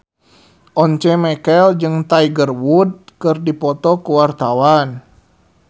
Once Mekel jeung Tiger Wood keur dipoto ku wartawan